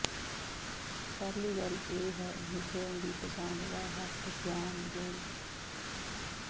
ਪਹਿਲੀ ਗੱਲ ਇਹ ਹੈ ਮਿਸ਼ਰਣ ਦੀ ਪਸੰਦ ਦਾ ਹੱਕ ਜਾਣ ਲਈ